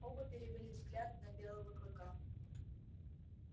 оба перевели взгляд на белого клыка